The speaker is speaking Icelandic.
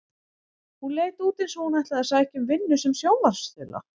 Hún leit út eins og hún ætlaði að sækja um vinnu sem sjónvarpsþula.